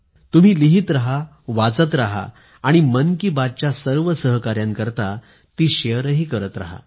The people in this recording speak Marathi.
तुम्ही लिहित रहावाचत रहा आणि मन की बात च्या सर्व सहकाऱ्यांकरता ती शेअरही करत रहा